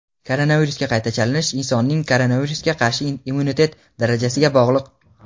Koronavirusga qayta chalinish insonning koronavirusga qarshi immunitet darajasiga bog‘liq.